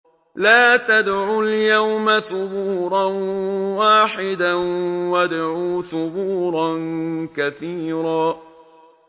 لَّا تَدْعُوا الْيَوْمَ ثُبُورًا وَاحِدًا وَادْعُوا ثُبُورًا كَثِيرًا